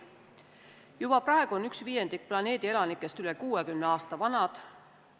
Juba praegu on viiendik planeedi elanikest üle 60 aasta vanad.